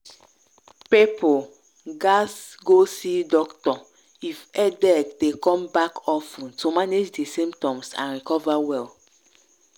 people gatz go see doctor if headache dey come back of ten to manage di symptoms and recover well.